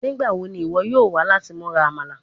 Nigbawo ni iwọ yoo wa lati mura Amala?